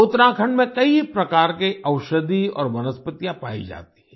उत्तराखंड में कई प्रकार के औषधि और वनस्पतियाँ पाई जाती हैं